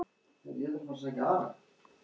Eigum við að dansa?